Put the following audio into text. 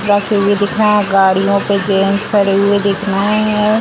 जाते हुए दिख रहे हैं। गाँड़ियों पे जेंट्स खड़े हुए दिख रहे हैं।